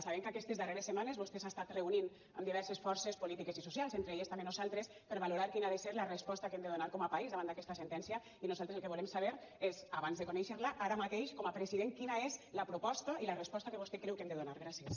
sabem que aquestes darreres setmanes vostè s’ha estat reunint amb diverses forces polítiques i socials entre elles també nosaltres per valorar quina ha de ser la resposta que hem de donar com a país davant d’aquesta sentència i nosaltres el que volem saber és abans de conèixer la ara mateix com a president quina és la proposta i la resposta que vostè creu que hem de donar gràcies